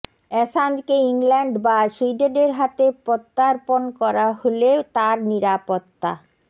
অ্যাসাঞ্জকে England বা সুইডেনের হাতে প্রত্যার্পণ করা হলে তাঁর নিরাপত্তা